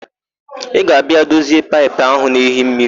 Ị ga-abịa dozie paịpụ áhụ̀ na-ehi mmiri?